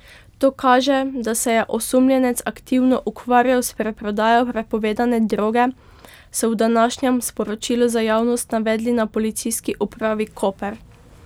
To kaže, da se je osumljenec aktivno ukvarjal s preprodajo prepovedane droge, so v današnjem sporočilu za javnost navedli na Policijski upravi Koper.